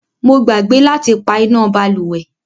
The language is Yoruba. Mo gbàgbé láti pá iná bálùwẹ̀.